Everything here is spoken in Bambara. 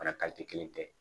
Fana kelen tɛ